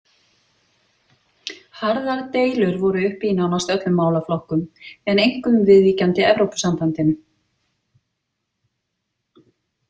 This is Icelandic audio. Harðar deilur voru uppi í nánast öllum málaflokkum, en einkum viðvíkjandi Evrópusambandinu.